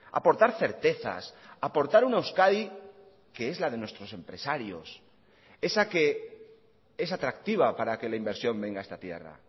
aportar certezas aportar una euskadi que es la de nuestros empresarios esa que es atractiva para que la inversión venga a esta tierra